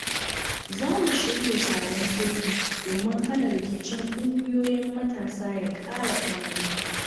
Za mu shirya taron sulhu domin hana rikicin ƙungiyoyin matasa ya ƙara ƙamari.